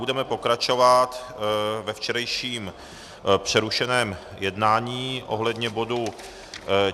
Budeme pokračovat ve včerejším přerušeném jednání ohledně bodu